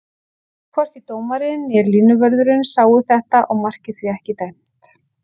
Hvorki dómarinn né línuvörðurinn sáu þetta og markið því ekki dæmt.